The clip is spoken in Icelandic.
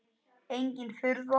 Engin furða.